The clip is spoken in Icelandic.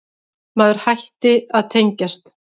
Maður hætti að tengjast.